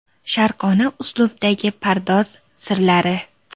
Sharqona uslubdagi pardoz sirlari .